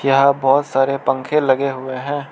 यहां बहोत सारे पंखे लगे हुए हैं।